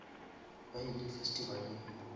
ba ile festivaleng